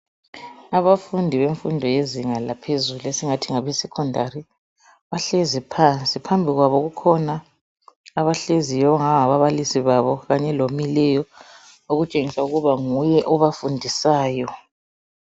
Abafundi bemfundo yezinga laphezulu esingathi ngabe secondary bahlezi phansi phambi kwabo kukhona abahleziyo abangani ngababalisi babo okutshengisa ukuba nguye obafundisayo